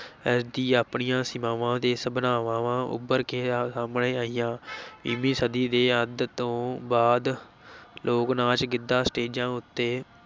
ਇਸ ਦੀ ਆਪਣੀਆਂ ਸੀਮਾਵਾਂ ਤੇ ਸੰਭਾਵਨਾਵਾਂ ਉਭਰ ਕੇ ਸਾਹਮਣੇ ਆਈਆਂ ਵੀਹਵੀਂ ਸਦੀ ਦੇ ਅੱਧ ਤੋਂ ਬਾਅਦ ਲੋਕ ਨਾਚ ਗਿੱਧਾ ਸਟੇਜਾਂ ਉਤੇ